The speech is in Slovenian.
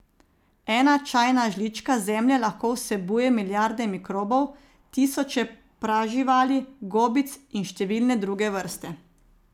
Ena čajna žlička zemlje lahko vsebuje milijarde mikrobov, tisoče praživali, gobic in številne druge vrste.